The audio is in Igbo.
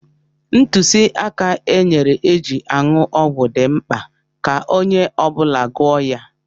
Ntụziaka e nyere eji aṅụ ọgwụ dị mkpa ka onye ọ bụla gụọ ya.